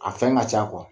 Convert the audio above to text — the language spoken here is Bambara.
A fɛn ka ca